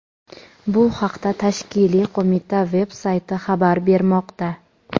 Bu haqda tashkiliy qo‘mita veb-sayti xabar bermoqda.